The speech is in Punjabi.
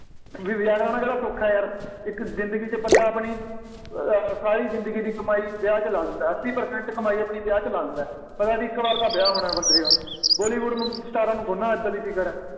ਵਿਆਹ ਵਿਆਹ ਕਰਵਾਉਣਾ ਕਿਹੜਾਂ ਸੌਖਾ ਯਾਰ, ਇੱਕ ਜ਼ਿੰਦਗੀ ਵਿੱਚ ਬੰਦਾ ਆਪਣੀ ਅਹ ਸਾਰੀ ਜ਼ਿੰਦਗੀ ਦੀ ਕਮਾਈ ਵਿਆਹ 'ਚ ਲਾ ਦਿੰਦਾ, ਅੱਸੀ percent ਆਪਣੀ ਕਮਾਈ ਵਿਆਹ 'ਚ ਲਾ ਦਿੰਦਾ, ਪਤਾ ਬਈ ਇੱਕ ਵਾਰ ਤਾਂ ਵਿਆਹ ਹੋਣਾ ਬੰਦੇ ਦਾ, ਬਾਲੀਵੁੱਡ ਅਮ ਸਟਾਰਾਂ ਨੂੰ ਥੋੜ੍ਹਾ ਏਦਾਂ ਦੀ ਫਿਕਰ ਆ,